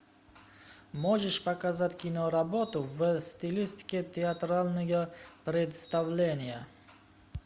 можешь показать киноработу в стилистике театральное представление